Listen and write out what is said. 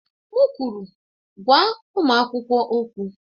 M kwụrụ, gwa ụmụ akwụkwọ okwụ!